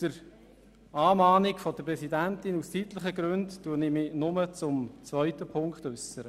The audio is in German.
Wegen der Mahnung der Präsidentin werde ich mich aus zeitlichen Gründen nur zum zweiten Punkt äussern.